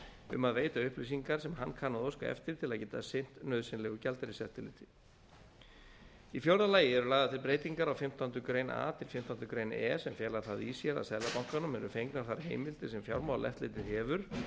um að veita upplýsingar sem hann kann að óska eftir til að geta sinnt nauðsynlegu gjaldeyriseftirliti í fjórða lagi eru lagðar til breytingar á fimmtándu grein a til fimmtándu grein e sem fela það í sér að seðlabankanum eru fengnar þær heimildir sem fjármálaeftirlitið hefur